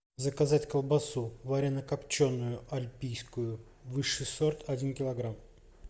заказать колбасу варено копченую альпийскую высший сорт один килограмм